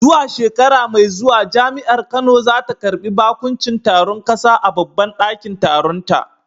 Zuwa shekara mai zuwa Jami’ar Kano za ta karbi bakuncin taron kasa a babban dakin taronta.